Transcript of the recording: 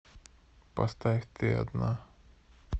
поставь ты одна